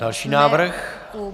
Další návrh.